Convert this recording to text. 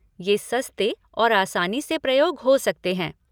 ये सस्ते और आसानी से प्रयोग हो सकते हैं।